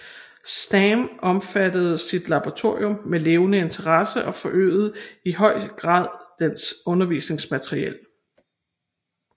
Stamm omfattede sit laboratorium med levende interesse og forøgede i høj grad dets undervisningsmateriel